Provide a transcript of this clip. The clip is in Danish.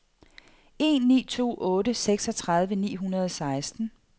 en ni to otte seksogtredive ni hundrede og seksten